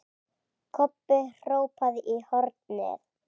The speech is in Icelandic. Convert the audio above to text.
Kobbi hrópaði í hornið.